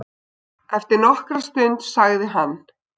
Eftir nokkra stund sagði hann